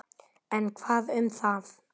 En hvað um það?